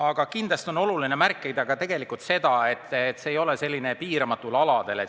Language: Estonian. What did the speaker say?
Ent kindlasti on oluline märkida, et see ei ole põletamine piiramatutel aladel.